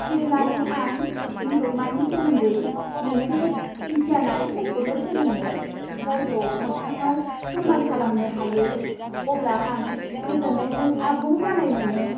जेब्लानो आं मुलुगमानि सोमोन्दै मोनसे बिगियानारि बुंफुरलु सोलोङो, जायखौ मोगथाङाव फोर्मान खालामनो हायो, अब्ला आं गोजोननायजों आबुं जानाय मोनो।